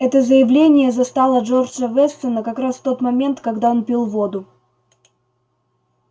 это заявление застало джорджа вестона как раз в тот момент когда он пил воду